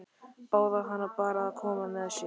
Báðu hana bara að koma með sér.